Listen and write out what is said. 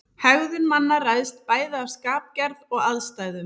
Hegðun manna ræðst bæði af skapgerð og aðstæðum.